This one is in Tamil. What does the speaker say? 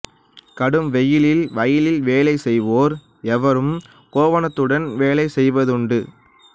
கடும் வெயில் வயலில் வேலை செய்வோர் வெறும் கோவணத்துடன் வேலை செய்வதுண்டு